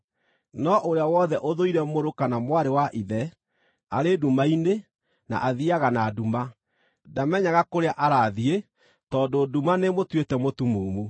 No ũrĩa wothe ũthũire mũrũ kana mwarĩ wa ithe, arĩ nduma-inĩ na athiiaga na nduma; ndamenyaga kũrĩa arathiĩ, tondũ nduma nĩĩmũtuĩte mũtumumu.